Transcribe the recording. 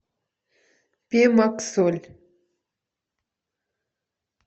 пемоксоль